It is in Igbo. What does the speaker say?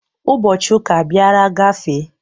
Ụbọchị ụka abiara gafee.